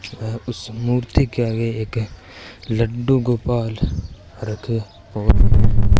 वह उस मूर्ति के आगे एक लड्डू गोपाल रखे हुए --